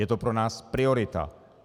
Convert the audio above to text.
Je to pro nás priorita.